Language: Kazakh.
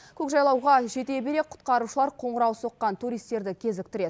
көкжайлауға жете бере құтқарушылар қоңырау соққан туристерді кезіктіреді